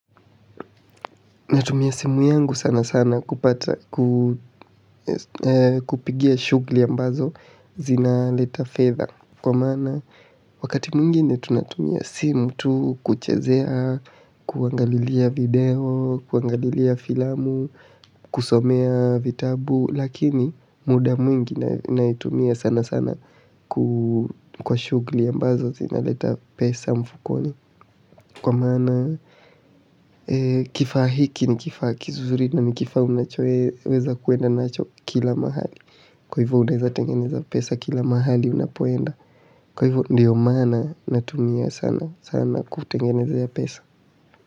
Natumia simu yangu sana sana kupata, kupigia shughuli ambazo zinaleta fedha. Kwa maana wakati mwingine tunatumia simu tu kuchezea, kuangalilia video, kuangalilia filamu, kusomea vitabu. Lakini muda mwingi naitumia sana sana kwa shughuli ambazo zinazoleta pesa mfukoni kwa maana, kifaa hiki ni kifaa kizuri na ni kifaa unachoweza kuenda nacho kila mahali kwa hivo unaeza tengeneza pesa kila mahali unapoenda. Kwa hivo ndio maana natumia sana, sana kutengenezea pesa.